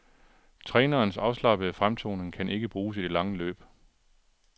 Trænerens afslappede fremtoning kan ikke bruges i det lange løb.